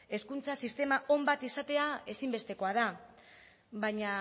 hezkuntza sistema on bat izatea ezinbestekoa da baina